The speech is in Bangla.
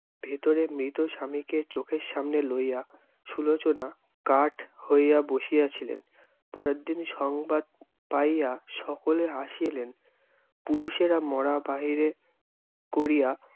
ভেতরে মৃত স্বামীকে চোখের সামনে লইয়া, সুলোচনা কাঠ হইয়া বসিয়া ছিলেন। পরেরদিন সংবাদ পাইয়া সকলে আসিলেন। পুরুষেরা মরা বাহিরে করিয়া